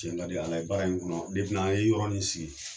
Tiɲɛ ka di Ala ye baara in kɔnɔ n'an ye yɔrɔ in sigi